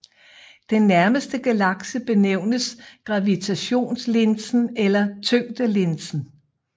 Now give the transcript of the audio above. Den nærmere galakse benævnes gravitationslinsen eller tyngdelinsen